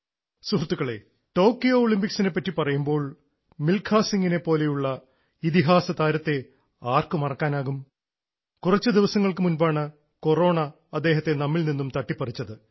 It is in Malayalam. സുഹൃത്തുക്കളേ ടോക്കിയോ ഒളിമ്പിക്സിനെ പറ്റി പറയുമ്പോൾ മിൽഖാ സിംഗിനെ പോലെയുള്ള ഇതിഹാസതാരത്തെ ആർക്ക് മറക്കാനാകും കുറച്ചു ദിവസങ്ങൾക്കു മുൻപാണ് കൊറോണ അദ്ദേഹത്തെ നമ്മിൽ നിന്ന് അകറ്റിയത്